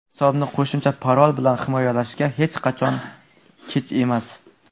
Hisobni qo‘shimcha parol bilan himoyalashga hech qachon kech emas.